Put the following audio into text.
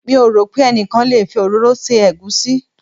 Mi ò rò pé ẹnikan lè fi òróró se egusi.